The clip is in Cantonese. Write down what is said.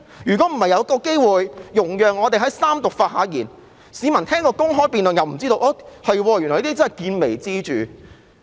如果不是有一個機會讓我們在三讀時發言，市民根本不知始末，但原來是見微知著。